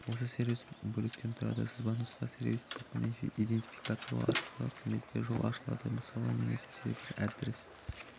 осы сервис бөліктен тұрады сызбанұсқа сервис типін иденфикациялау арқылы қызметке жол ашылады мысалы немесе сервері адрес